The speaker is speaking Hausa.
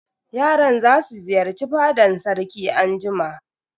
Yaran za su ziyarci fadan sarki anjima.